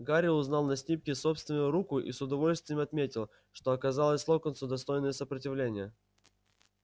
гарри узнал на снимке собственную руку и с удовольствием отметил что оказал локонсу достойное сопротивление